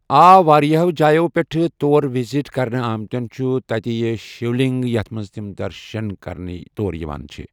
آ واریاہو جایو پٮ۪ٹھ تور وِزٹ کرنہِ آمتِیٚن چھُ تتہِ ای اے شِولنٛگ یتھ تِم درشن کرنہِ چھِ تور یِوان